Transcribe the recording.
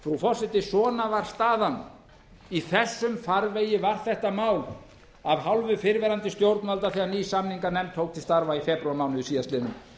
forseti svona var staðan í þessum farvegi var þetta mál af hálfu fyrrverandi stjórnvalda þegar ný samninganefnd tók til starfa í febrúarmánuði síðastliðnum